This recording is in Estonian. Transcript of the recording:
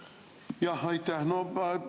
Jah, aitäh!